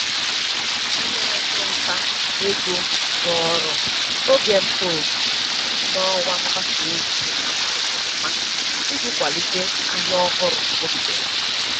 Onye ọchụ nta ego zụrụ oge mkpọ oku n'ọwa mgbasa ozi a mara ama iji kwalite ahịa ọhụrụ o bidoro.